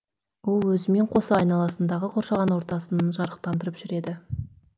ол өзімен қоса айналасындағы қоршаған ортасын жарықтандырып жүреді